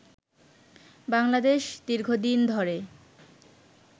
বাংলাদেশ দীর্ঘদিন ধরে